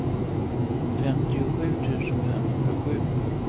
femtiosju tusen femhundrasju